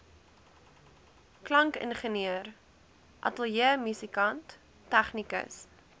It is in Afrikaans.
klankingenieur ateljeemusikant tegnikus